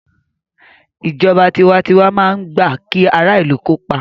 Ìjọba tiwantiwa máa ń gbà kí ara ìlù kópa